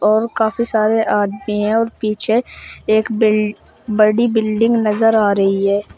और काफी सारे आदमी हैं और पीछे एक बिल बड़ी बिल्डिंग नजर आ रही है।